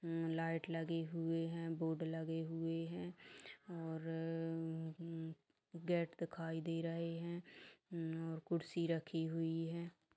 Light लगी हुई है बोर्ड लगे हुए है और गेट दिखाई दे रहे है कुर्सी रखी हुई है।